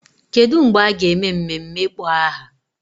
Kedu mgbe a ga-eme mmemme ịkpọ aha?